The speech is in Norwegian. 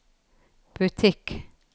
butikk